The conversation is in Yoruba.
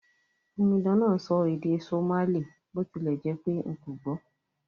Omidan náà n sọ èdè Somali bó tilẹ̀ jẹ́pé n kò gbò